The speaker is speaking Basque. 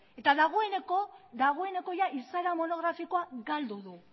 eta dagoeneko izaera monografikoa galdu du